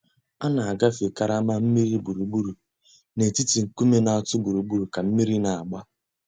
A nà-àgàfé karama mmìrì gbùrùgbùrù nètìtì ńkùmé̀ nà-̀tụ̀bà gbùrùgbùrù kà mmìrì nà-àgbà.